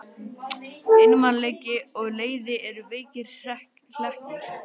Einmanaleiki og leiði eru veikir hlekkir.